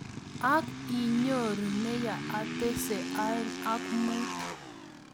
Ang ii! I nyoru ne yaetese aeng ak mut?